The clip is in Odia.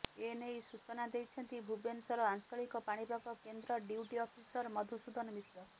ଏନେଇ ସୂଚନା ଦେଇଛନ୍ତି ଭୁବନେଶ୍ୱର ଆଞ୍ଚଳିକ ପାଣିପାଗ କେନ୍ଦ୍ର ଡ୍ୟୁଟି ଅଫିସର ମଧୂସୁଦନ ମିଶ୍ର